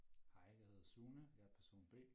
Hej jeg hedder Sune jeg person B